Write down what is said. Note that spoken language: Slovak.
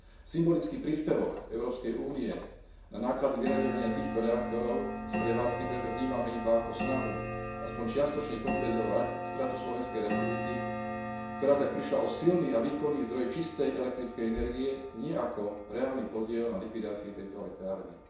Symbolický príspevok Európskej únie na náklady vyraďovania týchto reaktorov z prevádzky preto vnímame iba ako snahu aspoň čiastočne kompenzovať stratu Slovenskej republiky, ktorá tak prišla o silný a výkonný zdroj čistej elektrickej energie, nie ako reálny podiel na likvidácii tejto elektrárne.